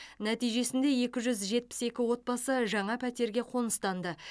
нәтижесінде екі жүз жетпіс екі отбасы жаңа пәтерге қоныстанды